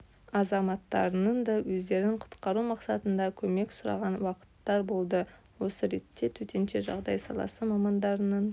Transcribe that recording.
азаматтарының да өздерін құтқару мақсатында көмек сұраған уақыттар болды осы ретте төтенше жағдай саласы мамандарының